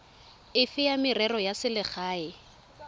efe ya merero ya selegae